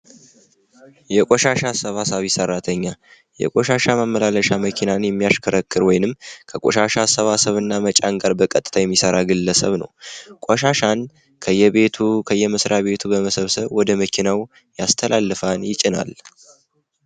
የቆሻሻ አሰብሳቢ ሠራተኛ የቆሻሻ መመላለሻ መኪና የሚያሽከረክር ወይንም ከቆሻሻ አሰባሰብ እና መጫንቀርብ በቀጥታ የሚሰራ ግለሰብ ነው ከየቤቱ ከመስሪቱ በመሰብሰብ ወደ መኪናው ያስተላልፈዋል ይጭናል።